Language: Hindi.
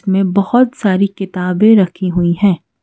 मे बहुत सारी किताबें रखी हुई है।